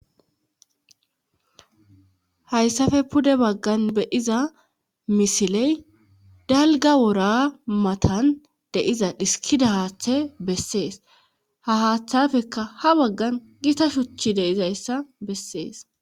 Hayssafe pude baggan be7iza misiley dalga wora matan deiza dhiskida haaththe bessees ha haaththafeka ha baggan gita shuchi deizayssa bessees.